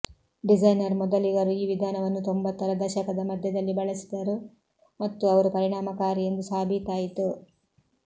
designer ಮೊದಲಿಗರು ಈ ವಿಧಾನವನ್ನು ತೊಂಬತ್ತರ ದಶಕದ ಮಧ್ಯದಲ್ಲಿ ಬಳಸಿದರು ಮತ್ತು ಅವರು ಪರಿಣಾಮಕಾರಿ ಎಂದು ಸಾಬೀತಾಯಿತು